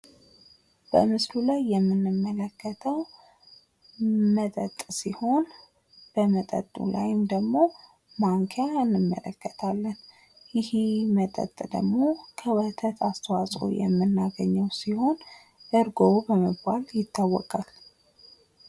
በምስሉ ላይ የምንመለከተዉ መጠጥ ሲሆን በመጠጡ ላይም ደግሞ ማንኪያ እንመለከታለን። ይሄ መጠጥ ደግሞ ከወተት አስተዋፅዖ የምናገኘዉ ሲሆን እርጎ በመባል ይታወቃል።